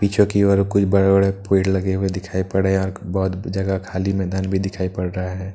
पीछे की ओर कुछ बड़े बड़े पेड़ लगे हुए दिखाई पड़े हैं यहां बहोत जगह खाली मैदान भी दिखाई पड़ रहा है।